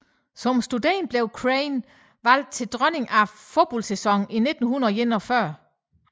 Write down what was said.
Som studerende blev Crain valgt til dronning af fodboldsæsonen i 1941